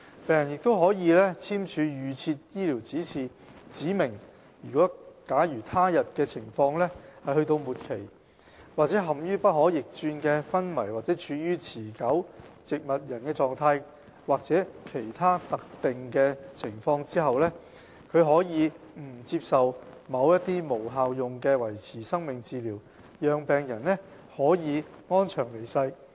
病人亦可以簽署預設醫療指示，指明假如他的病情到了末期、或陷於不可逆轉的昏迷或處於持續植物人狀況、或在其他特定情況時，他可以不接受某些無效用的維持生命治療，讓病人可以安詳離世。